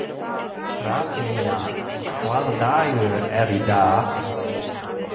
Hrafnynja, hvaða dagur er í dag?